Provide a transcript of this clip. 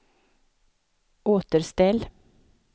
återställ